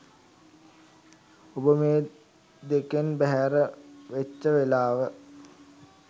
ඔබ මේ දෙකෙන් බැහැර වෙච්ච වෙලාව